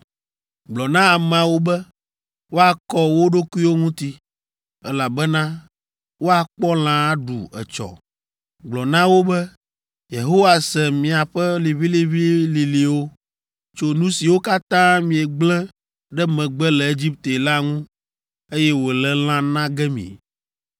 “Gblɔ na ameawo be woakɔ wo ɖokuiwo ŋuti, elabena woakpɔ lã aɖu etsɔ. Gblɔ na wo be, ‘Yehowa se miaƒe liʋĩliʋĩlilĩwo tso nu siwo katã miegblẽ ɖe megbe le Egipte la ŋu, eye wòle lã na ge mi.